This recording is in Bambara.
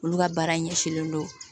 Olu ka baara ɲɛsinnen don